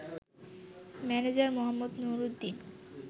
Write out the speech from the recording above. manager মোঃ নুরুদ্দিন